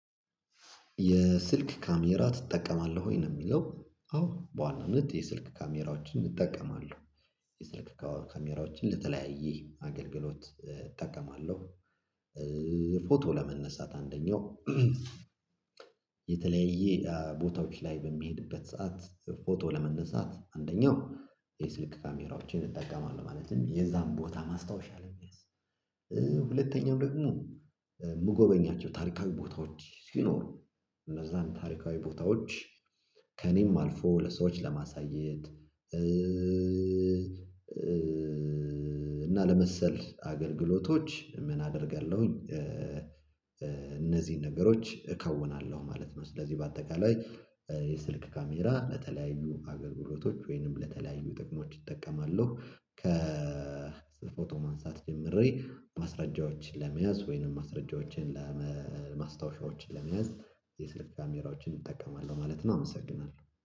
የስልክ ካሜራ ትጠቀማለህ ወይ? ነው የሚለው አዎ በዋናነት የስልክ ካሜራዎችን እጠቀማለሁ የስልክ ካሜራዎችን ለተለያየ አገልግሎት እጠቀማለሁ። ፎቶ ለማንሳት አንደኛው። የተለያየ ቦታዎች ላይ በሚሄድበት ሰዓት ፎቶ ለመነሳት አንደኛው የስልክ ካሜራዎችን እጠቀማለሁ ማለትም የዛን ቦታ ማስታወሻ ለመያዝ። ሁለተኛው ደግሞ የምጎበኛቸው ታሪካዊ ቦታዎች ሲኖሩ እነዛን ታሪካዊ ቦታዎች ከእኔም አልፎ ለሰዎች ለማሳየት እና ለመሰል አገልግሎቶች ምን አደርጋለሁኝ እነዚህን ነገሮች እከውናለሁ ማለት ነው። ስለዚህ በአጠቃላይ የስልክ ካሜራ ለተለያዩ አገልግሎቶች ወይንም ለተለያዩ ጥቅሞች እጠቀማለሁ። ከ ፎቶ ማንሳት ጀምሬ ማስረጃዎችን ለመያዝ ወይንም ማስረጃዎችን ማስታወሻዎችን ለመያዝ የስልክ ካሜራዎችን እጠቀማለሁ ማለት ነው። አመሰግናለሁ